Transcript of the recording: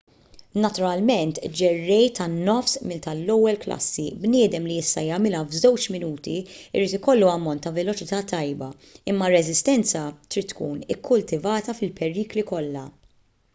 naturalment ġerrej tan-nofs mil tal-ewwel klassi bniedem li jista' jagħmilha f'żewġ minuti irid jkollu ammont ta' veloċità tajba imma r-reżistenza trid tkun ikkultivata fil-perikli kollha